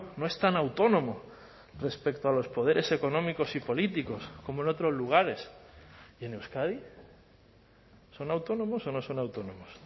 no es tan autónomo respecto a los poderes económicos y políticos como en otros lugares en euskadi son autónomos o no son autónomos